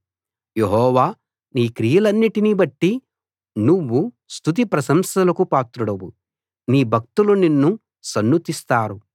యెహోవా నీ క్రియలన్నిటిని బట్టి నువ్వు స్తుతి ప్రశంసలకు పాత్రుడవు నీ భక్తులు నిన్ను సన్నుతిస్తారు